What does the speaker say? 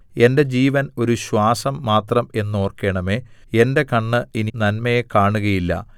എന്റെ ജീവൻ ഒരു ശ്വാസം മാത്രം എന്നോർക്കണമേ എന്റെ കണ്ണ് ഇനി നന്മയെ കാണുകയില്ല